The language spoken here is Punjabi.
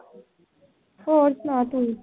ਹੋਰ ਸੁਣਾ ਤੂੰ।